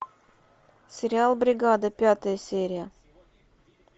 сериал бригада пятая серия